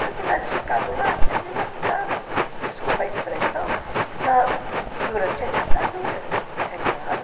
Se eu tivesse ficado lá, tinha me lascado, desculpa a expressão, durante a ditadura, é claro.